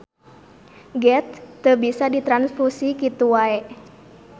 Geth teu bisa ditranfusi kitu wae.